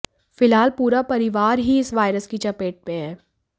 फिलहाल पूरा परिवार ही इस वायरस की चपेत में हैं